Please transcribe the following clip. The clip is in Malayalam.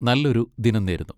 നല്ലൊരു ദിനം നേരുന്നു.